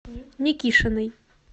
никишиной